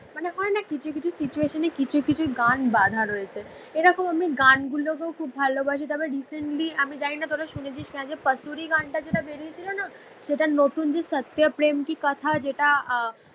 মানে অনেক কিছু কিছু সিচুয়েশনে কিছু কিছু গান বাঁধা রয়েছে. এরকম আমি গানগুলোকেও খুব ভালোবাসি. তবে রিসেন্টলি আমি জানিনা তোরা শুনেছিস না. যে পাসুরি গানটা যেটা বেরিয়েছিল না? সেটা নতুন যে সাত্য প্রেম কি কথা যেটা আহ